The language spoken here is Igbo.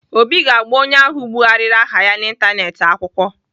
Obi ga-agba onye ahụ bụgharịrị aha ya n'Ịntanetị akwụkwọ.